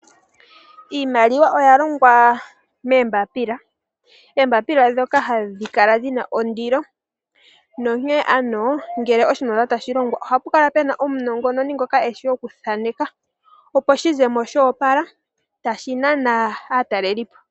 Iimaliwa oya longwa moombapila ndhoka dhina ondilo. Onkene ngele oshimaliwa tashi longwa ohapu kala puna omunongononi ngoka eshi okuthaneka opo shi ze mo shoopala tashi nana aataleli.